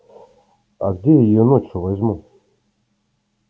а где я её ночью возьму